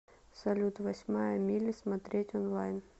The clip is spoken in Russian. салют восьмая милли смотреть онлайн